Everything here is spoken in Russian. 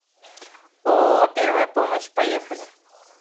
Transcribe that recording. ооо первая помощь поехали